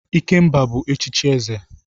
Ikemba bu echichi eze.